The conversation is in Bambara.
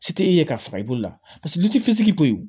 Si tɛ e ye ka faga i bolo la litiri seegi ko